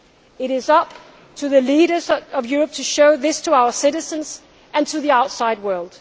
reality. It is up to the leaders of Europe to show this to our citizens and to the outside